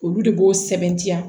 Olu de b'o sɛbɛntiya